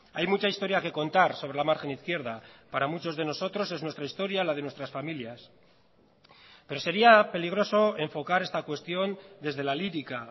hay mucha historia que contar sobre la margen izquierda para muchos de nosotros es nuestra historia la de nuestras familias pero sería peligroso enfocar esta cuestión desde la lírica